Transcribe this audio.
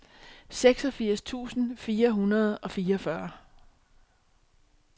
seksogfirs tusind fire hundrede og fireogfyrre